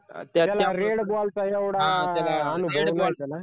त्याला red ball चा येवडा अनुभव नव्हता ना